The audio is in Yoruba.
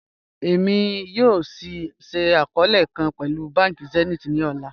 Ẹ̀mi yọọ̀ ṣíì akọọ̀lẹ̀ kan pẹ̀lú bánkì Zenith ni ọlá